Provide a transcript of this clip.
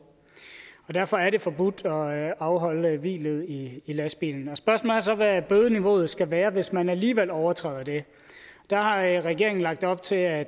derfor er det forbudt at afholde hvilet i lastbilen spørgsmålet er så hvad bødeniveauet skal være hvis man alligevel overtræder det der har regeringen lagt op til at